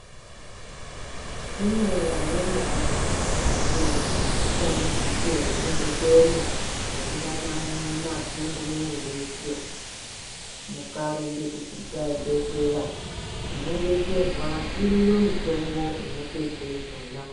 Kune amweni ayani anoita dambudziko rekundikwena kubuda mapundu muviri weshe mukarumba kuchibhedhlera munodetserwa iriyo mitombo inopedza izvona.